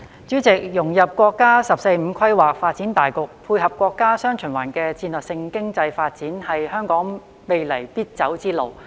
主席，融入國家"十四五"規劃發展大局，配合國家"雙循環"的戰略性經濟發展，是香港未來必走之路。